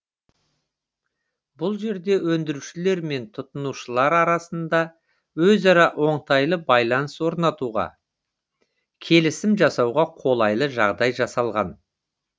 бұл жерде өндірушілер мен тұтынушылар арасында өзара оңтайлы байланыс орнатуға келісім жасауға қолайлы жағдай жасалған